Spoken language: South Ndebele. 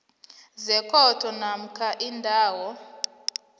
sekhotho namkha indawo